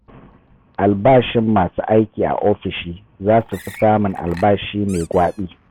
Albashin masu aiki a ofishi za su fi samun albashi mai gwaɓi.